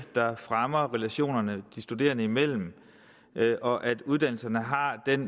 der fremmer relationerne de studerende imellem og at uddannelserne har den